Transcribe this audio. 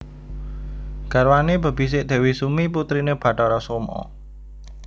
Garwane bebisik Dewi Sumi putrine Bathara Soma